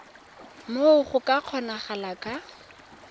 moo go ka kgonagalang ka